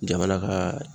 Jamana ka